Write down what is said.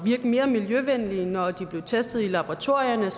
mere miljøvenlige når de blev testet i laboratorierne